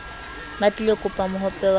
ba tlilo kopa mohope wa